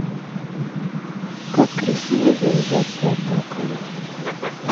как красиво завязать платок